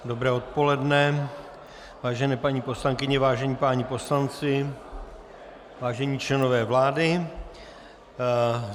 Dobré odpoledne, vážené paní poslankyně, vážení páni poslanci, vážení členové vlády.